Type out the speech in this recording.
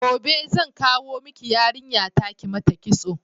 Gobe zan kawo miki yarinya ta kimata kitso